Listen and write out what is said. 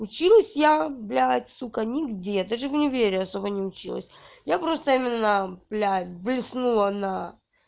училась я блядь сука нигде даже в универе особо не училась я просто именно блядь блеснула на